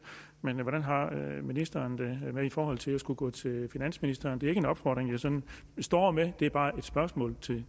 men hvordan har ministeren det i forhold til at skulle gå til finansministeren det er ikke en opfordring jeg sådan står med det er bare et spørgsmål